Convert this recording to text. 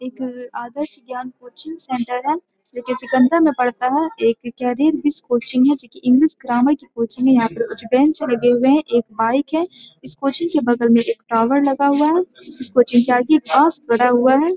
एक Adarsh Gyan coaching centre है जो कि सिकंदरा में पड़ता है। एक करियर विश कोचिंग है जो कि इंग्लिश ग्रामर की कोचिंग है। यहां पर कुछ बेंच लगे हुए है। एक बाइक है। इस कोचिंग के बगल में एक टावर लगा हुआ है। इस कोचिंग के आगे बस खड़ा हुआ है।